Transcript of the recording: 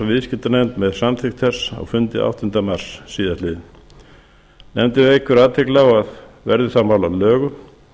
viðskiptanefnd með samþykkt þess á fundi áttunda mars síðastliðinn nefndin vekur athygli á að verði það mál að lögum